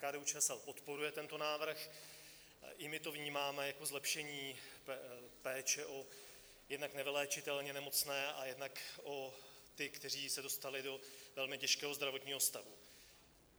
KDU-ČSL podporuje tento návrh, i my to vnímáme jako zlepšení péče o jednak nevyléčitelně nemocné a jednak o ty, kteří se dostali do velmi těžkého zdravotního stavu.